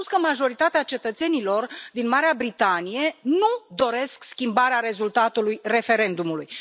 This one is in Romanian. Ați spus că majoritatea cetățenilor din Marea Britanie nu doresc schimbarea rezultatului referendumului.